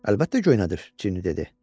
Əlbəttə göynədir, Cini dedi.